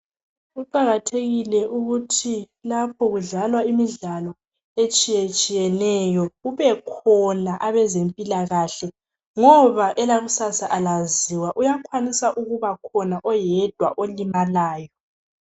Kuqakathekile ukuthi lapha kudlalwa imidlalo etshiyetshiyeneyo. Kubekhona abezempilakahle, ngoba elakusasa kalaziwa. Kuyakwanisa ukubakhona, oyedwa olimalayo.